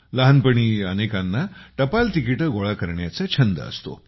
लहानपणी सगळ्यांनाच टपाल तिकिटे गोळा करण्याचा छंद असतो